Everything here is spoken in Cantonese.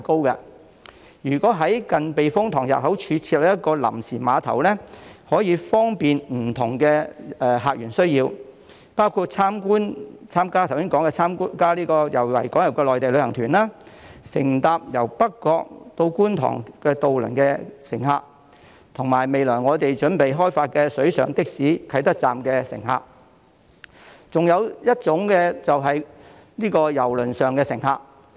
如果在近避風塘入口處設立一個臨時碼頭，將可以方便不同訪客的需要，包括剛才提到參加維港遊的內地旅行團、乘搭北角至觀塘渡輪的乘客、未來準備開發的水上的士啟德站的乘客，以及郵輪上的乘客。